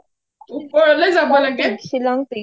ওপৰলে যাব লাগে